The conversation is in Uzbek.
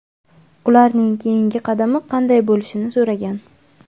ularning keyingi qadami qanday bo‘lishini so‘ragan.